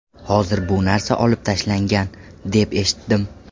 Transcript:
Hozir bu narsa olib tashlangan, deb eshitdim.